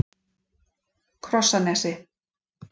Krossanesi